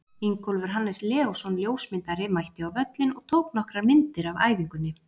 Ingólfur Hannes Leósson, ljósmyndari, mætti á völlinn og tók nokkrar myndir af æfingunni.